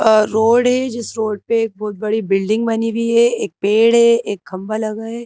अ road है जिस road पे एक बहुत बड़ी बिल्डिंग बनी हुई है एक पेड़ है एक खम्बा लगा है।